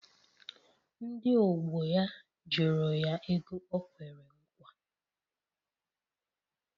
Ndị ọgbọ ya jụrụ ya ego o kwere nkwa.